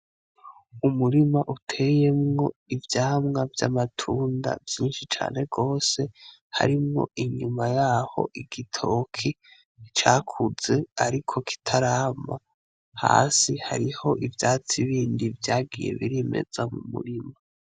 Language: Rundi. Umurima uteyemo ivyamwa vy'amatunda vyinshi cane rwose harimwo inyuma yaho igitoke cakutse ariko kitaragwa hasi hariho ivyatsi bindi biriko birimeza mumurima.